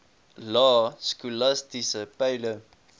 lae skolastiese peile